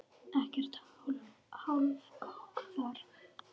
Ekkert hálfkák þar.